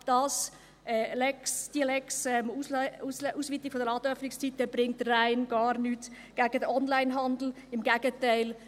Diese «Lex Ausweitung der Ladenöffnungszeiten» bringt rein gar nichts gegen den Onlinehandel, im Gegenteil: